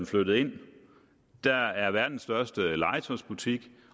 flyttet ind der er verdens største legetøjsbutik